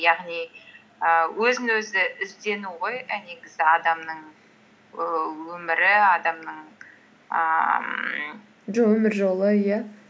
яғни ііі өзін өзі іздену ғой і негізі адамның өмірі адамның ііі өмір жолы иә